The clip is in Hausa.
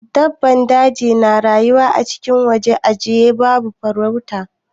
Dabban daji na rayuwa acikin wajen ajiye babu farauta.